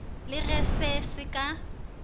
le ge se se ka